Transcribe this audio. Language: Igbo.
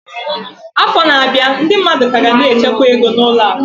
Afọ na-abịa, ndị mmadụ ka ga na-echekwa ego na ụlọ akụ.